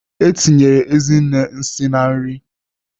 Etinyere Ezinne nsị na nri.